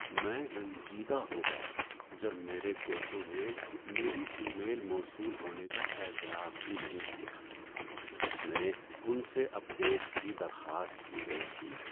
میں رنجیدہ ہو گیا جب میرے کوچوں نے میری ای میل موصول ہونے کا اعتراف ہی نہیں کیا جس میں ان سے اپ ڈیٹس کی درخواست کی گئی تھی۔